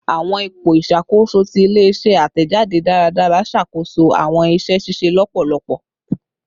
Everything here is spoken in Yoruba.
Awọn ipo iṣakoso ti ile-iṣẹ atẹjade daradara ṣakoso awọn iṣẹ ṣiṣe lọpọlọpọ